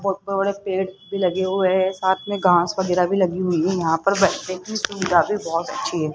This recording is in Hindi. और पेड़ भी लगे हुए हैं साथ में घास वगैरा भी लगी हुई है बैठने की सुविधा भी बहुत अच्छी है।